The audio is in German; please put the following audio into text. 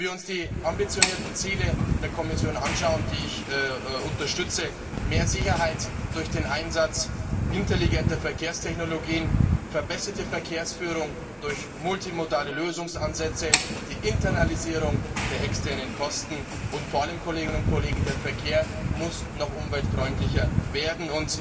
Schauen wir uns die ambitionierten Ziele der Kommission, die ich unterstütze, an mehr Sicherheit durch den Einsatz intelligenter Verkehrstechnologien, verbesserte Verkehrsführung durch multimodale Lösungsansätze, die Internalisierung der externen Kosten, und vor allem muss der Verkehr noch umweltfreundlicher werden.